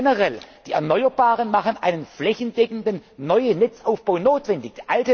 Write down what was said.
notwendig. Generell Die Erneuerbaren machen einen flächendeckenden neuen Netzaufbau